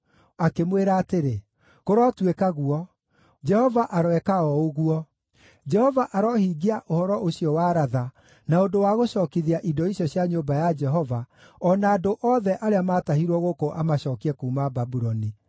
Akĩmwĩra atĩrĩ, “Kũrotuĩka guo! Jehova aroeka o ũguo! Jehova arohingia ũhoro ũcio waratha na ũndũ wa gũcookithia indo icio cia nyũmba ya Jehova, o na andũ othe arĩa maatahirwo gũkũ amacookie kuuma Babuloni.